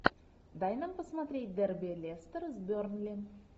дай нам посмотреть дерби лестер с бернли